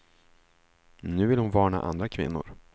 Nu vill hon varna andra kvinnor.